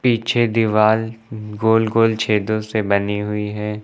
पीछे दीवाल गोल गोल छेदों से बनी हुई है।